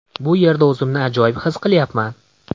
Bu yerda o‘zimni ajoyib his qilyapman.